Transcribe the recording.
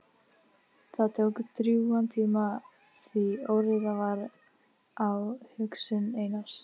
Það tók drjúgan tíma því óreiða var á hugsun Einars.